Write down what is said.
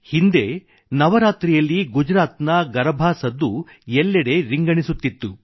ಹಿಂದೆ ನವರಾತ್ರಿಯಲ್ಲಿ ಗುಜರಾತ್ ನ ಗರಭಾ ಸದ್ದು ಎಲ್ಲೆಡೆ ರಿಂಗಣಿಸುತ್ತಿತ್ತು